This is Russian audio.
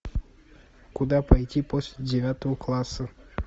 куда пойти после девятого класса